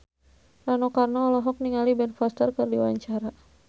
Rano Karno olohok ningali Ben Foster keur diwawancara